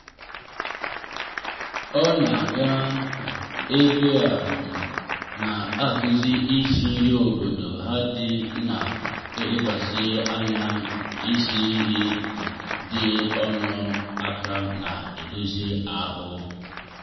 ọ na-aga ebe a um na-akụzi isi nri obodo ha ndị na-elekwasị anya na isi nri um dị ọnụ ala na-edozi ahụ.